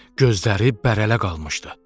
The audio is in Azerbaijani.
Gözləri bərələ qalmışdı.